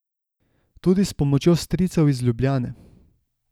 Tudi s pomočjo stricev iz Ljubljane.